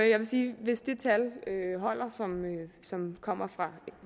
jeg vil sige at hvis det tal som kommer fra